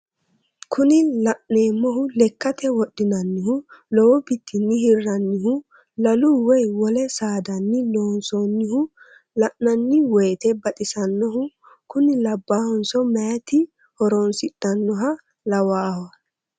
Kuni la'neemohu lekkate wodhinannihu lowo bitinni hirrannihu lalu woye wole saadanni loonsoonnihu la'nanni woyiite baxisannohu kuni labaahunso meeyaati horonsidhannoha lawaahe.